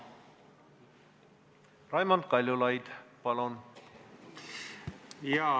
Raimond Kaljulaid, palun!